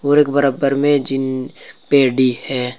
और एक बराबर में जिम पेडी है।